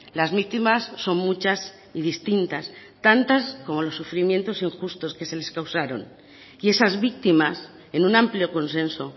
las víctimas son muchas y distintas tantas como los sufrimientos injustos que se les causaron y esas víctimas en un amplio consenso